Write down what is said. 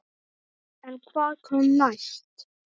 En hvað kom næst?